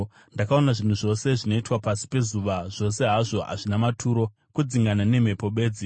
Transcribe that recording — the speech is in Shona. Ndakaona zvinhu zvose zvinoitwa pasi pezuva; zvose hazvo hazvina maturo, kudzingana nemhepo bedzi.